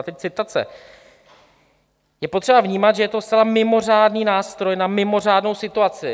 A teď citace: Je potřeba vnímat, že to je zcela mimořádný nástroj na mimořádnou situaci.